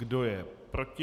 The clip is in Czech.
Kdo je proti?